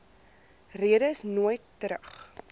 redes nooit terug